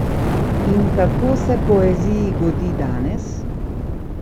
In kako se poeziji godi danes?